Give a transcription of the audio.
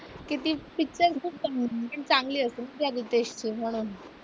किती पिक्चर चांगली असेल ना त्या रितेशचं म्हणून.